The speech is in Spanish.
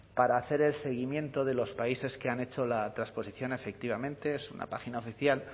para hacer el seguimiento de los países que han hecho la transposición efectivamente es una página oficial